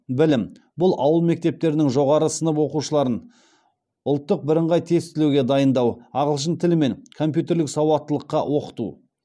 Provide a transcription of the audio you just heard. білім бұл ауыл мектептерінің жоғары сынып оқушыларын ұлттық бірыңғай тестілеуге дайындау ағылшын тілі мен компьютерлік сауаттылыққа оқыту